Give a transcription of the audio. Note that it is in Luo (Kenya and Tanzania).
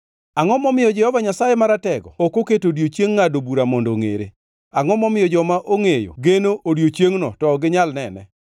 “Angʼo momiyo Jehova Nyasaye Maratego ok oketo odiechieng ngʼado bura mondo ongʼere? Angʼo momiyo joma ongʼeyo geno odiechiengno to ok ginyal nene?